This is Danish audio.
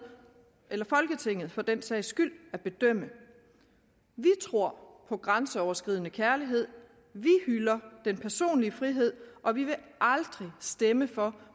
eller folketinget for den sags skyld vi tror på grænseoverskridende kærlighed vi hylder den personlige frihed og vi vil aldrig stemme for